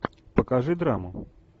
покажи драму